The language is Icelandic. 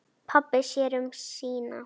Pabbi sér um sína.